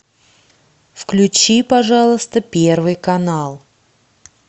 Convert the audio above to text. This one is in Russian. включи пожалуйста первый канал